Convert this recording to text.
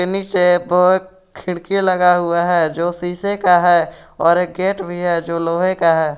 नीचे बहुत खिड़की लगा हुआ हैं जो शीशे का हैं और एक गेट भी है जो लोहे का है।